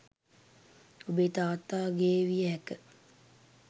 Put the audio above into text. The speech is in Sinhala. ඔබේ තාත්තා ගේ විය හැක